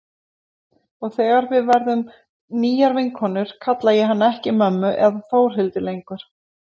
Og þegar við verðum nýjar vinkonur kalla ég hana ekki mömmu eða Þórhildi lengur.